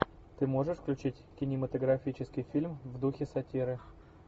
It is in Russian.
ты можешь включить кинематографический фильм в духе сатиры